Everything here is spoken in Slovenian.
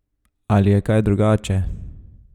Ali je kaj drugače?